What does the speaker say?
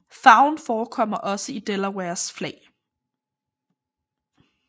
Farven forekommer også i Delawares flag